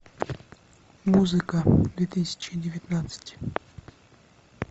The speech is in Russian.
музыка две тысячи девятнадцать